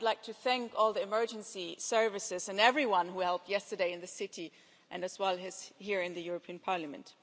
I would like to thank all the emergency services and everyone who helped yesterday in the city, as well as here in the European Parliament.